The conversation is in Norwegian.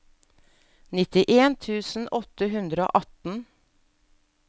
nittien tusen åtte hundre og atten